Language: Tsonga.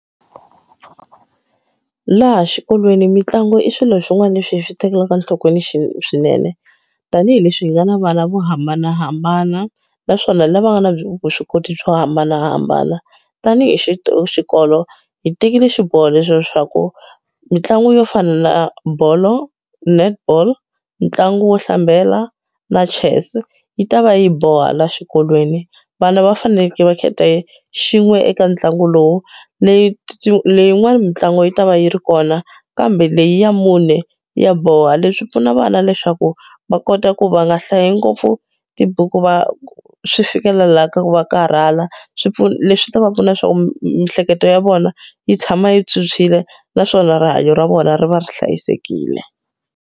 Laha xikolweni mitlangu i swilo swin'wana leswi hi swi tekelaka nhlokweni xi swinene tanihileswi hi nga na vana vo hambanahambana naswona lava nga na vuswikoti byo hambanahambana tanihi xi xikolo hi tekile xiboho leswaku mitlangu yo fana na bolo netball ntlangu wo hlambela na chess yi ta va yi boha la xikolweni vana va faneleke va khetha xin'we eka ntlangu lowu leti leyin'wani mitlangu yi ta va yi ri kona kambe leyi ya mune ya boha leswi pfuna vana leswaku va kota ku va nga hlayi ngopfu tibuku va swi fikelela la ka ku va karhala swipfuna leswi ta va pfuna leswaku miehleketo ya vona yi tshama yi tshwutshwile naswona rihanyo ra vona ri va ri hlayisekile.